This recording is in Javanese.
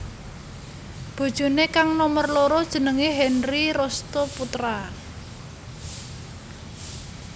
Bojoné kang nomer loro jenengé Henry Restoe Poetra